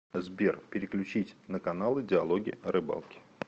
сбер переключить на каналы диалоги о рыбалке